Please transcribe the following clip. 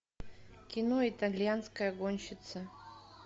кино итальянская гонщица